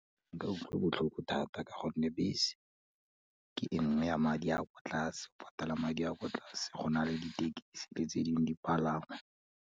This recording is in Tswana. Ke utlwa botlhoko thata ka gonne bese, ke enngwe ya madi a kwa tlase, o patala madi a kwa tlase go na le ditekisi, le tse dingwe dipalangwa.